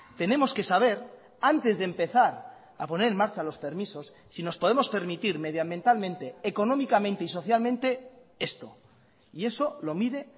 tenemos que saber antes de empezar a poner en marcha los permisos si nos podemos permitir medioambientalmente económicamente y socialmente esto y eso lo mide